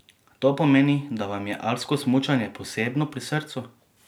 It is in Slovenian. To pomeni, da vam je alpsko smučanje posebno pri srcu?